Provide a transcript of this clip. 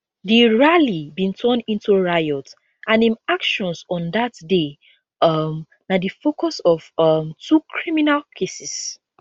di rally bin turn into riot and im actions on dat day um na di focus of um two criminal cases